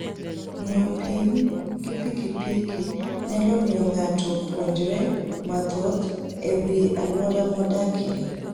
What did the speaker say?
Ng'iyo piny gi pikipiki nyalo miyo ng'ato opuonjre mathoth e wi alwora modakie.